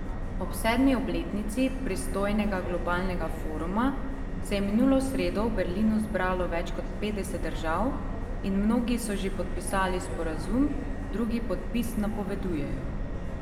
Ob sedmi obletnici pristojnega globalnega foruma se je minulo sredo v Berlinu zbralo več kot petdeset držav in mnogi so že podpisali sporazum, drugi podpis napovedujejo.